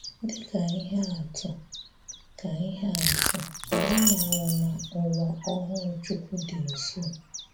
Dị ka íhè àtụ̀, ka íhè àtụ̀, ànyị̀ màrà na Ụ́wà Ọ́hụụ́ Chúkwú dì nso.